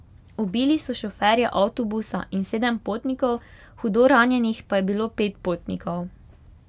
Ubili so šoferja avtobusa in sedem potnikov, hudo ranjenih pa je bilo pet potnikov.